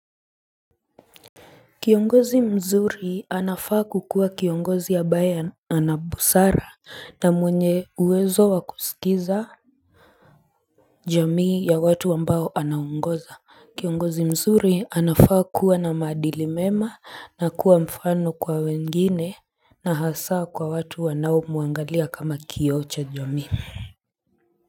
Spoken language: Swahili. Kiongozi mzuri anafaa kukuwa kiongozi ya ambaye ana busara na mwenye uwezo wakusikiza jamii ya watu ambao anaongoza kiongozi mzuri anafaa kuwa na maadili mema na kuwa mfano kwa wengine na hasaa kwa watu wanao muangalia kama kioo cha jamii.